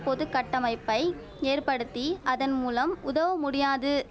பொது கட்டமைப்பை ஏற்படுத்தி அதன் மூலம் உதவ முடியாது